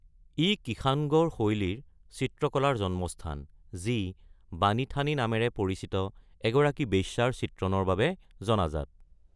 ই কিষাণগড় শৈলীৰ চিত্ৰকলাৰ জন্মস্থান, যি বাণী থানী নামেৰে পৰিচিত এগৰাকী বেশ্যাৰ চিত্ৰণৰ বাবে জনাজাত।